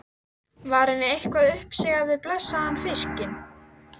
Var henni eitthvað uppsigað við blessaðan fiskinn?